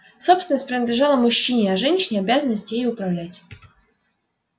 собственность принадлежала мужчине а женщине обязанность ею управлять